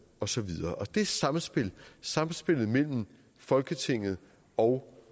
og så videre det samspil samspil mellem folketinget og